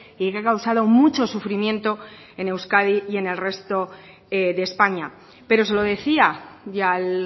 y que ha causado mucho sufrimiento en euskadi y en el resto de españa pero se lo decía y al